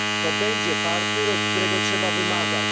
To będzie partner, od którego trzeba wymagać.